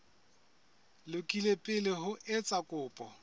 lokile pele o etsa kopo